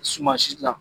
Suman si dilan